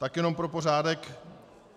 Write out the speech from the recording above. Tak jenom pro pořádek.